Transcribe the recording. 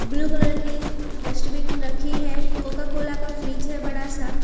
Blue colour की dustbin रखी है कोकाकोला का फ्रिज है बड़ा सा।